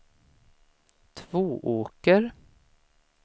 Tvååker